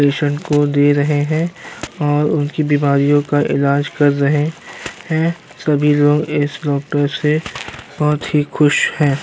Patient को दे रहे हैं और उनकी बीमारियों का इलाज कर रहे हैं। सभी लोग इस डॉक्टर से बहुत ही खुश हैं।